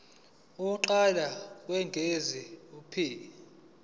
lokuqala lokwengeza p